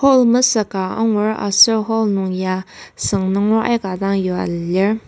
Hall mesük ka angur aser hall nungya süng nunger aika dang yua lir.